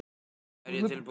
Er ég tilbúinn?